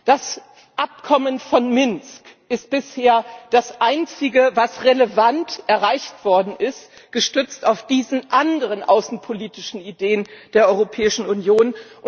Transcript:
Das Abkommen von Minsk ist bisher das einzige, was relevant erreicht worden ist, gestützt auf diese anderen außenpolitischen Ideen der Europäischen Union.